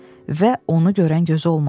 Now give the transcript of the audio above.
Və onu görən gözü olmadı.